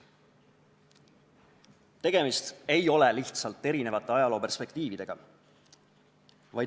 Tegemist ei ole lihtsalt erinevate ajalooperspektiividega.